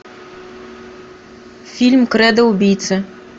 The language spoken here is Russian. фильм кредо убийцы